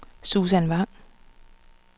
Susan Vang